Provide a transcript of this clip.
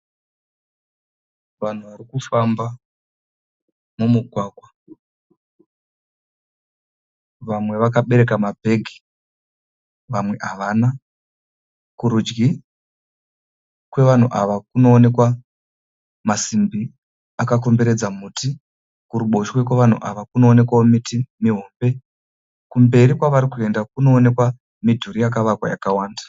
Vanhu vari kufamba mumugwagwa. Vamwe vakabereka mabhegi, vamwe havana. Kurudyi kwavanhu ava kunoonekwa masimbi akakomberedza muti. Kuruboshwe kwavanhu ava kunoonekwawo miti mihombe. Kumberi kwavari kuenda kunoonekwa midhuru yakavakwa yakawanda.